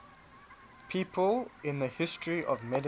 people in the history of medicine